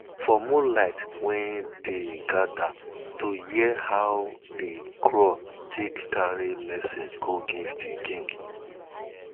for moonlight we dey gather to hear how de crow take carry messages go give de king